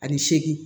Ani seegin